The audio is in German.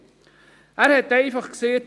Er hat einfach gesagt: